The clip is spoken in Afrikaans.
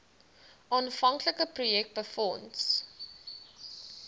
aanvanklike projek befonds